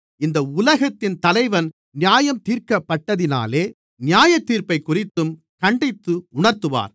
இந்த உலகத்தின் தலைவன் நியாயந்தீர்க்கப்பட்டதினாலே நியாயத்தீர்ப்பைக்குறித்தும் கண்டித்து உணர்த்துவார்